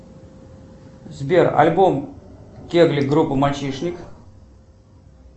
сбер альбом кегли группы мальчишник